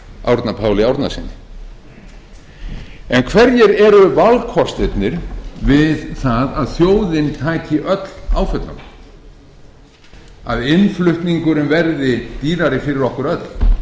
árna páli árnasyni en hverjir eru valkostirnir við það að þjóðin taki öll áföllunum að innflutningurinn verði dýrari fyrir okkur